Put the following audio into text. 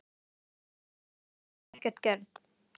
Og hún hafði alls ekkert gert.